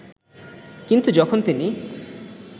কিন্তু যখন তিনি